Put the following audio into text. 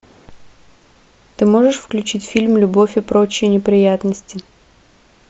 ты можешь включить фильм любовь и прочие неприятности